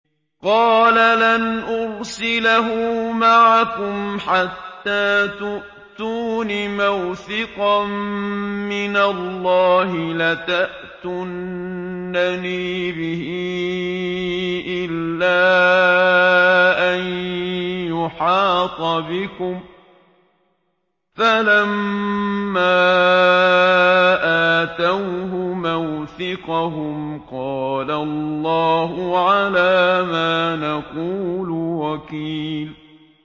قَالَ لَنْ أُرْسِلَهُ مَعَكُمْ حَتَّىٰ تُؤْتُونِ مَوْثِقًا مِّنَ اللَّهِ لَتَأْتُنَّنِي بِهِ إِلَّا أَن يُحَاطَ بِكُمْ ۖ فَلَمَّا آتَوْهُ مَوْثِقَهُمْ قَالَ اللَّهُ عَلَىٰ مَا نَقُولُ وَكِيلٌ